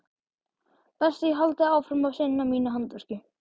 Best ég haldi áfram að sinna mínu handverki.